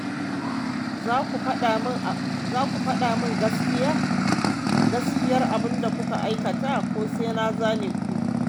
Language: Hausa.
Za ku faɗa min gaskiyar abinda kuka aikata ko sai na zane ku.